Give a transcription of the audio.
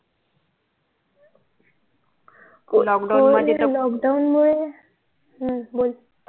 lockdown मुळे हम्म बोल